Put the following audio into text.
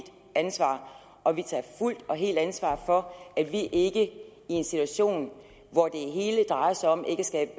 ansvar og vi tager fuldt og helt ansvar for at vi ikke i en situation hvor det hele drejer sig om ikke at skabe